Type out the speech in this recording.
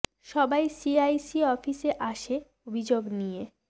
সবাই C I C office এ আসে অভিযোগ নিয়ে